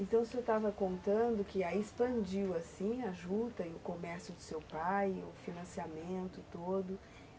Então o senhor estava contando que aí expandiu assim a juta e o comércio do seu pai, o financiamento todo.